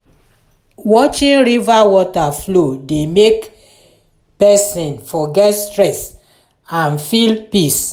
watching river water flow dey make person forget stress and feel peace.